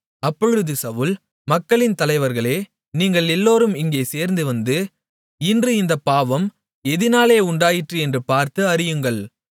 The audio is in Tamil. அப்பொழுது சவுல் மக்களின் தலைவர்களே நீங்கள் எல்லோரும் இங்கே சேர்ந்து வந்து இன்று இந்தப் பாவம் எதினாலே உண்டாயிற்று என்று பார்த்து அறியுங்கள்